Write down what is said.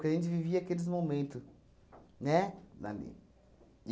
Porque a gente vivia aqueles momento, né? Lá nele.